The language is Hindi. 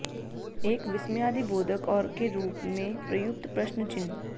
एक विस्मयादिबोधक और के रूप में प्रयुक्त प्रश्न चिह्न